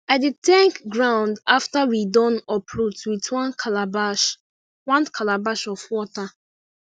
i dey thank ground after we don uproot with one calabash one calabash of water